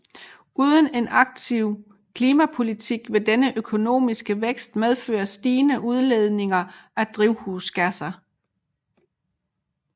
Uden en aktiv klimapolitik vil denne økonomiske vækst medføre stigende udledninger af drivhusgasser